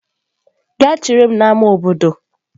Gaa chere m n'ámá obodo!